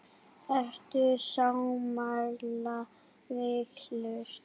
Ertu sammála valinu?